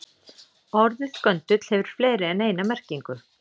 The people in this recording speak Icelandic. Orðið göndull hefur fleiri en eina merkingu.